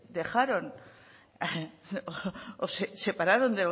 dejaron o separaron